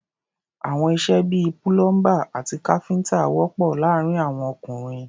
Àwọn iṣẹ́ bí i púlọ́ḿbà àti káfíńtà wọ̀pọ̀ láàárín àwọn ọkùnrin.